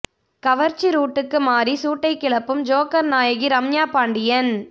கவர்ச்சி ரூட்டுக்கு மாறி சூட்டை கிளப்பும் ஜோக்கர் நாயகி ரம்யா பாண்டியன்